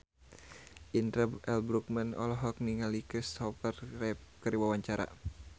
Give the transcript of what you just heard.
Indra L. Bruggman olohok ningali Kristopher Reeve keur diwawancara